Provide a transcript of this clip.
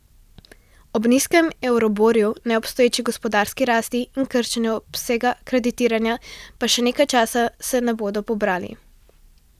Ob nizkem euriborju, neobstoječi gospodarski rasti in krčenju obsega kreditiranja pa se še nekaj časa ne bodo pobrali.